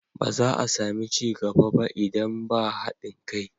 Ba za a sami ci gaba ba idan ba haɗin kai.